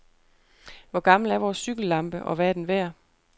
Hvor gammel er vores cykellampe, og hvad er den værd?